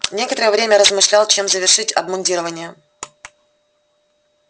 некоторое время размышлял чем завершить обмундирование